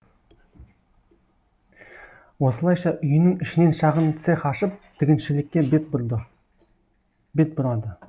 осылайша үйінің ішінен шағын цех ашып тігіншілікке бет бұрады